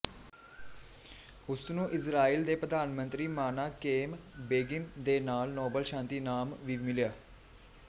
ਉਸਨੂੰ ਇਜ਼ਰਾਇਲ ਦੇ ਪ੍ਰਧਾਨਮੰਤਰੀ ਮਾਨਾਕੇਮ ਬੇਗਿਨ ਦੇ ਨਾਲ ਨੋਬਲ ਸ਼ਾਂਤੀ ਇਨਾਮ ਵੀ ਮਿਲਿਆ